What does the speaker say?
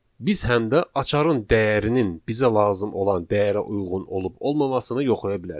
Biz həm də açarın dəyərinin bizə lazım olan dəyərə uyğun olub-olmamasını yoxlaya bilərik.